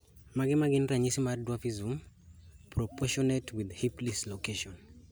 Mage magin ranyisi mag Dwarfism, proportionate with hip dislocation?